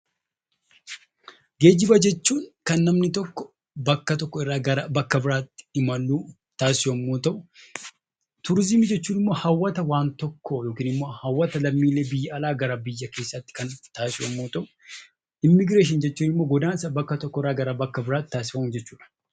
Geejjiba jechuun kan namni tokko bakka tokko irraa gara bakka biraatti imaluuf taasisu yoo ta'u; Turiizimii jechuun immoo hawwata waan tokkoo yokiin immoo hawwata lammiilee biyya ala gara biyya keessaatti kan taasisu yommuu ta'u; Immigireeshinii jechuun immoo godaansa bakka tokko irraa gara bakka biraatti taasifamu jechuu dha.